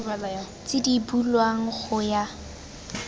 tse di bulwang go ya